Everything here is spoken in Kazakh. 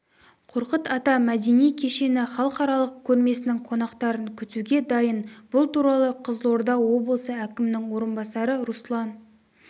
қорқыт ата мәдени кешені халықаралық көрмесінің қонақтарын күтуге дайын бұл туралы қызылорда облысы әкімінің орынбасары руслан